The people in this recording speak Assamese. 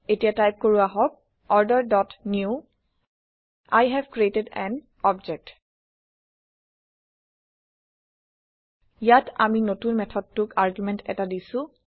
এতিয়া টাইপ কৰো আহক order dot new we have created an object ইয়াত আমি নতুন মেথডটোক আৰগুমেণ্ট এটা দিছো